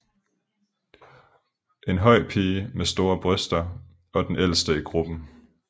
En høj pige med store bryster og den ældste i gruppen